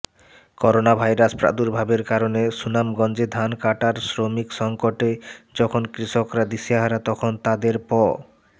coronavirus প্রার্দুভাবের কারণে সুনামগঞ্জে ধান কাটার শ্রমিক সংকটে যখন কৃষকরা দিশেহারা তখন তাদের প